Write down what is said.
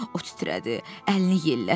O titrədi, əlini yellətdi.